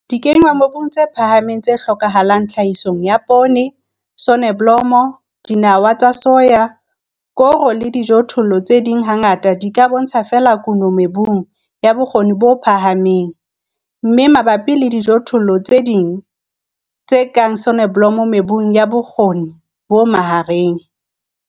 Dikenngwamobung tse phahameng tse hlokahalang tlhahisong ya poone, soneblomo, dinawa tsa soya, koro le dijothollo tse ding hangata di ka bontsha feela kuno mebung ya bokgoni bo phahameng, mme mabapi le dijothollo tse ding tse kang soneblomo mebung ya bokgoni bo mahareng.